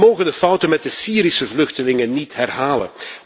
We mogen de fouten met de Syrische vluchtelingen niet herhalen.